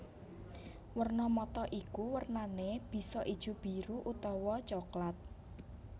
Werna mata iku wernané bisa ijo biru utawa coklat